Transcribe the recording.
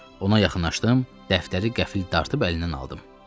Ona yaxınlaşdım, dəftəri qəfil dartıb əlimdən aldım.